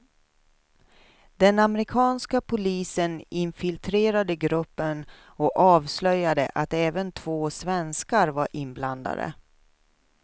Den amerikanska polisen infiltrerade gruppen och avslöjade att även två svenskar var inblandade.